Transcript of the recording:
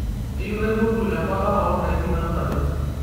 kayieu naipotu embata oondaiki naanapi